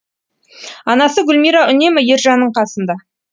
анасы гүлмира үнемі ержанның қасында